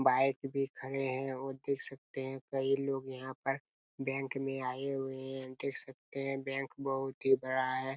Bike भी खड़े है और देख सकते है कई लोग यहाँ पर बैंक में आए हुए है देख सकते है बैंक बहुत ही बड़ा हैं।